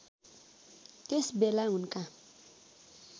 त्यस बेला उनका